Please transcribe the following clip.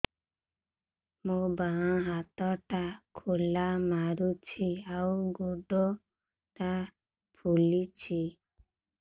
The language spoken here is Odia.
ମୋ ବାଆଁ ହାତଟା ଖିଲା ମାରୁଚି ଆଉ ଗୁଡ଼ ଟା ଫୁଲୁଚି